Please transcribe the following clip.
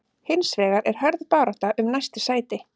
Hins vegar er hörð barátta um næstu sæti.